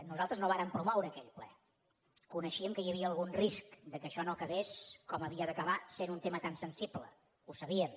nosaltres no vàrem promoure aquell ple coneixíem que hi havia algun risc que això no acabés com havia d’acabar sent un tema tan sensible ho sabíem